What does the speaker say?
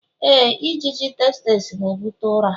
Éè, ijiji tsetse na-ebute ụra.